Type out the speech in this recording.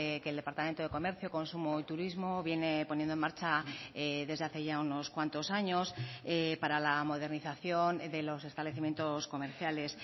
que el departamento de comercio consumo y turismo viene poniendo en marcha desde hace ya unos cuantos años para la modernización de los establecimientos comerciales